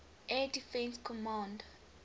air defense command